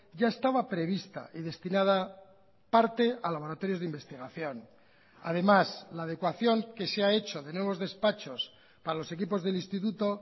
ya estaba prevista y destinada parte a laboratorios de investigación además la adecuación que se ha hecho de nuevos despachos para los equipos del instituto